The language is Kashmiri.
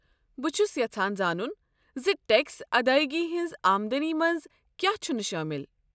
بہٕ چھس یژھان زانٗن زِ ٹیكس ادایگی ہٕنٛزِ آمدنی منٛز کیا چھنہٕ شٲمل ۔